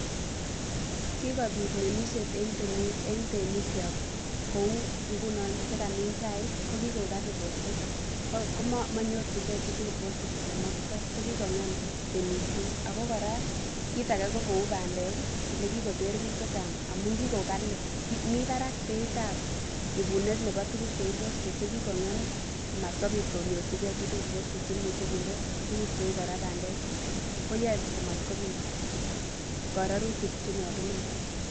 Kikobiit ng'emisiet en temiikchok, kou ingunon chekikomin chaik ko kigoik kali bosbeet, ko manyorchingen chitugul bosbeet olemoktoo, ko kigong'em temisiet ako kora kiit age ko kou bandeek olekikoter biik chechang',amun kigoik kali, mi barak beit ab ibuneet ab tuguk cheu bosbeet chekikong'em komatkobit konyorchigee chitugul komanyorchigen chitugul bosbeet cheimuche kinde tuguk cheu kora bandeek, ko yoe komatkobit kora rurutik chenyolunotin.